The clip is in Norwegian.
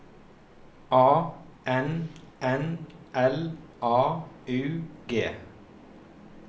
A N N L A U G